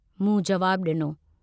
मूं जवाबु डिनो।